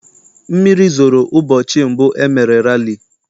Mmiri zoro ụbọchị mbụ e mere rali.